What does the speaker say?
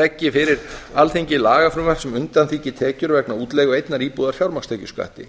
leggi fyrir alþingi lagafrumvarp sem undanþiggi tekjur vegna útleigu einnar íbúðar fjármagnstekjuskatti